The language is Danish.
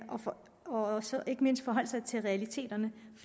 og ikke mindst forholde sig til realiteterne